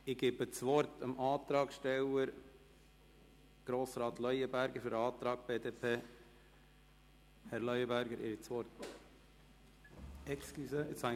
Ich erteile dem Antragsteller der BDP, Grossrat Leuenberger, das Wort.